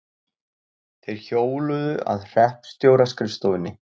Þeir hjóluðu að hreppstjóra-skrifstofunni.